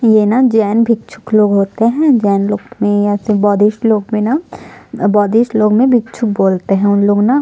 ये न जैन भिक्षुक लोग होते है जैन लोग में ये बौद्धिष्ट लोग में न बौद्धिष्ट लोग में भिक्षुक बोलते है उनलोग न --